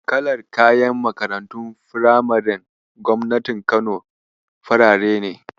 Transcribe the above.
Kalar kayan Makarantun firamaren gobnatin Kano farare ne.